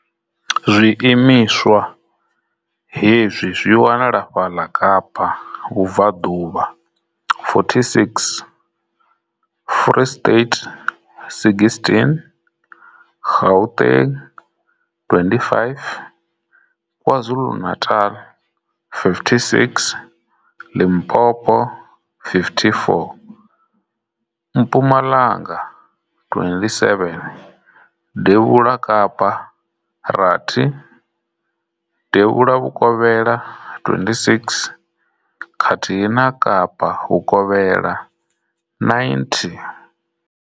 Zwi imiswa hezwi zwi wanala fhaḽa Kapa vhubvaḓuvha 46, Free State 16, Gauteng 25, KwaZulu-Natal 56, Limpopo 54, Mpumalanga 27, Devhula Kapa rathi, Devhula Vhukovhela 26, khathihi na Kapa Vhukovhela 90.